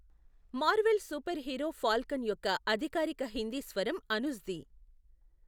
Marvel super hero Falcon యొక్క అధికారిక హిందీ స్వరం అనుజ్ది.